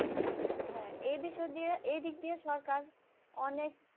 হ্যাঁ এ বিষয় দিয়ে এদিক দিয়ে সরকার অনেক